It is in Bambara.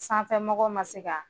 Sanfɛmɔgɔw ma se ka